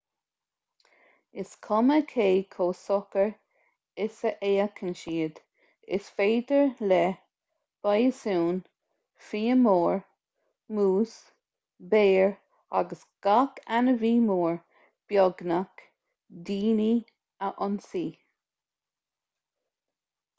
is cuma cé chomh socair is a fhéachann siad is féidir le bíosún fia mór mús béir agus gach ainmhí mór beagnach daoine a ionsaí